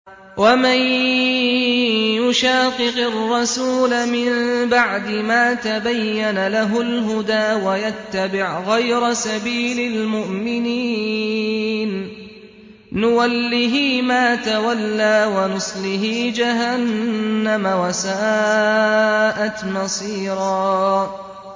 وَمَن يُشَاقِقِ الرَّسُولَ مِن بَعْدِ مَا تَبَيَّنَ لَهُ الْهُدَىٰ وَيَتَّبِعْ غَيْرَ سَبِيلِ الْمُؤْمِنِينَ نُوَلِّهِ مَا تَوَلَّىٰ وَنُصْلِهِ جَهَنَّمَ ۖ وَسَاءَتْ مَصِيرًا